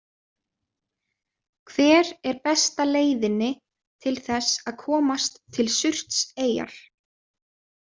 Hver er besta leiðinni til þess að komast til Surtseyjar?